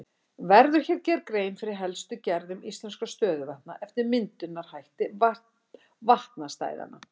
Verður hér gerð grein fyrir helstu gerðum íslenskra stöðuvatna eftir myndunarhætti vatnastæðanna.